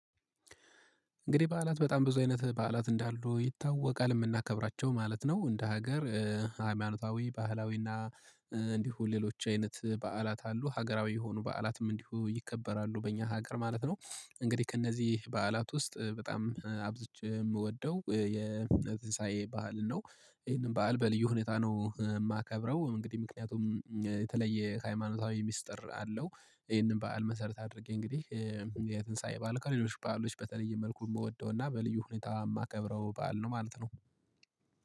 እንግዲህ በዓላት በጣም ብዙ አይነት በዓላት እንዳሉ ይታወቃል የምናከብራቸው ማለት ነው እንደ ሀገር ሃይማኖታዊ ባህላዊ እና እንዲሁ ሌሎች አይነት በዓላት አሉ ሀገራዊ የሆኑ በዓላትም እንዲሁ ይከበራሉ በእኛ ሀገር ማለት ነው። እንግዲህ ከእነዚህ በዓላት ውስጥ በጣም አብዝቼ የምወደው ዥቅዥዥር ባዓል ነው። ይሄንን ባዓል በልዩ ሁኔታ ነው የማከብረው። እንግዲህ ምክንያቱም የተለየ ሃይማኖታዊ ሚስጥር አለው። ይህንን በዓል መሰረት አድርጌ እንግዲህ የትንሳኤ ባልከው ሌሎች በዓሎች በተለየ መልኩ የምወደውና በልዩ ሁኔታ የማከብረው ባል ነው ማለት ነው